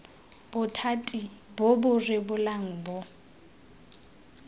bothati bo bo rebolang bo